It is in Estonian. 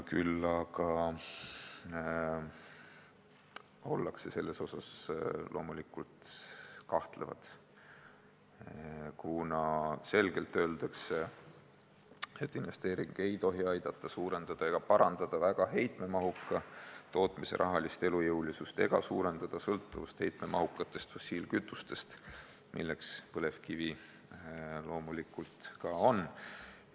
Küll aga ollakse selles osas kahtlevad, kuna selgelt on öeldud, et investeering ei tohi aidata suurendada väga heitemahuka tootmise rahalist elujõulisust ega suurendada sõltuvust heitemahukatest fossiilkütustest, mida põlevkivi loomulikult on.